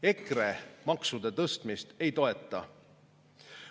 EKRE maksude tõstmist ei toeta.